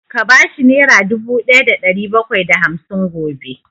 Ka bashi nera dubu ɗaya da ɗari bakwai da hamsin gobe!